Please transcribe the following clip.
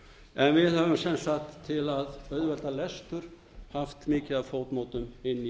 en við höfum sem sagt til að auðvelda lestur haft mikið af footnootum inni í